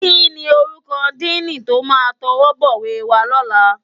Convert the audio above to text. Kini órúkò dìní tó má tòwòbòwé wá lòlá